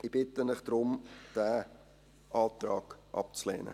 Ich bitte Sie deshalb, diesen Antrag abzulehnen.